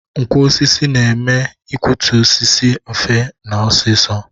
Nkwọ osisi na-eme ikwọtụ osisi mfe na ọsịsọ